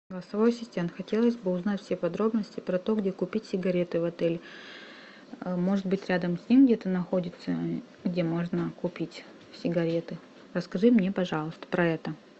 голосовой ассистент хотелось бы узнать все подробности про то где купить сигареты в отеле может быть рядом с ним где то находится где можно купить сигареты расскажи мне пожалуйста про это